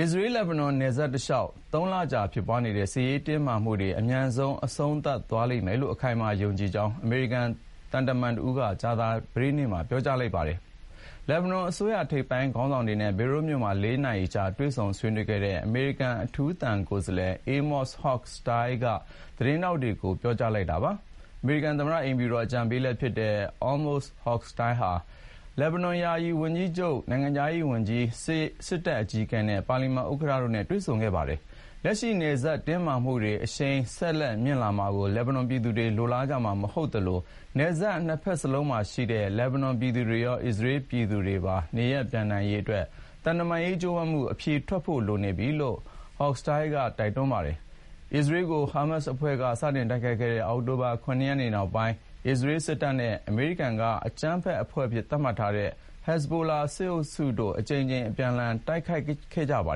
အစ္စရေး−လက်ဘနွန် နယ်စပ်တလျှောက် သုံးလကြာဖြစ်နေတဲ့ စစ်ရေးတင်းမာမှုတွေ အမြန်အဆုံးသတ်သွားလိမ့်မယ်လို့ အခိုင်အမာယုံကြည်ကြောင်း အမေရိကန် သံတမန်တဦးက ကြာသပတေးနေ့မှာ ပြောကြားလိုက်ပါတယ်။ လက်ဘနွန်အစိုးရ ထိပ်ပိုင်းခေါင်းဆောင်တွေနဲ့ ဘေရွတ်မြို့မှာ လေးနာရီကြာ တွေ့ဆုံဆွေးနွေးခဲ့တဲ့ အမေရိကန် အထူးသံကိုယ်စားလှယ်( အေးမော့စ် ဟော့ခ် စတိုင်း ) Amos Hochstein က သတင်းထောက်တွေကို ပြောကြားလိုက်တာပါ။ အမေရိကန်သမ္မတ အိမ်ဖြူတော်အကြံပေးလည်းဖြစ်တဲ့ Amos Hochstein ဟာ လက်ဘနွန် ယာယီဝန်ကြီးချုပ်၊ နိုင်ငံခြားရေးဝန်ကြီး ၊ စစ်တပ်အကြီးအကဲအပြင် ပါလီမန်ဥက္ကဋ္ဌနဲ့လည်း တွေ့ဆုံခဲ့ပါတယ်။ လက်ရှိ နယ်စပ်တင်းမာမှုတွေ အရှိန် ဆက်မြင့်လာမှာကို လက်ဘနွန်ပြည်သူတွေ လိုလားကြမှာမဟုတ်သလို နယ်စပ် နှစ်ဖက်စလုံးမှာရှိတဲ့ လက်ဘနွန် ပြည်သူတွေရော၊ အစ္စရေးပြည်သူတွေပါ နေရပ်ပြန်နိုင်ရေးအတွက် သံတမန်ရေး ကြိုးပမ်းမှု အဖြေထွက်ဖို့လိုနေပြီလို့ Hoch−stein က တိုက်တွန်းပါတယ်။ အစ္စရေးကို ဟားမတ်စ်အဖွဲ့က စတင်တိုက်ခိုက်ခဲ့တဲ အောက်တိုဘာ ၇ ရက်နေ့နောက်ပိုင်း အစ္စရေးစစ်တပ်နဲ့အမေရိကန်က အကြမ်းဖက်အဖွဲ့အဖြစ်သတ်မှတ်ထားတဲ့ Hezbollah (ဟက်ဇ်ဘိုလာ) စစ်အုပ်စုတို့ကြား အကြိမ်ကြိမ် အပြန်အလှန် တိုက်ခိုက်နေကြတာပါ